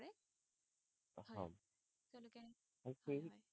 কৃষি হয়